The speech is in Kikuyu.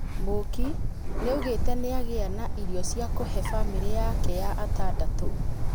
Mũũki nĩaugite nĩagĩa na irio cia kũhee bamĩrĩ yaake ya atandatũ